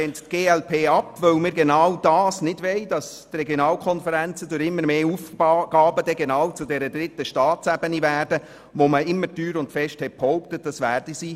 Die glp lehnt diese ab, weil wir genau nicht wollen, dass die Regionalkonferenzen durch immer mehr Aufgaben zur dritten Staatsebene werden, wobei man immer teuer und fest behauptet hat, dies werde nie der Fall sein.